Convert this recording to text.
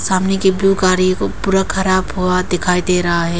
सामने की ब्लू गाड़ी को पूरा खराब हुआ दिखाई दे रहा है।